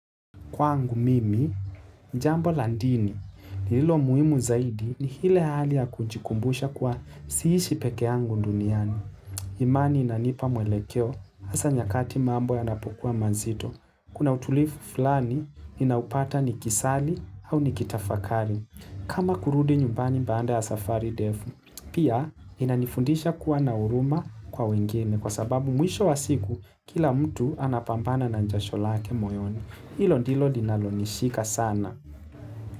Kwangu mimi, jambo la dinini lililo muimu zaidi ni lile hali ya kujikumbusha kuwa siishi peke angu nduniani. Imani inanipa mwelekeo asa nyakati mambo ya napukua manzito. Kuna utulifu fulani inaupata ni kisali au nikitafakari. Kama kurudi nyumbani banda ya safari defu, pia inanifundisha kuwa nauruma kwa wengine kwa sababu mwisho wasiku kila mtu anapampana na njasholake moyoni. Ilo dilo dinalonishika sana.